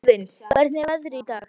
Óðinn, hvernig er veðrið í dag?